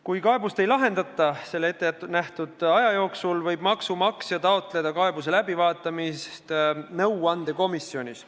Kui kaebust ei lahendata selle ettenähtud aja jooksul, võib maksumaksja taotleda kaebuse läbivaatamist nõuandekomisjonis.